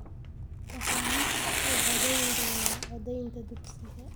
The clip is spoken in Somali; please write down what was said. Waxaanu codayn donna codeynta dugsiga